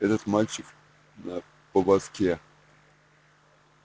этот мальчик на поводке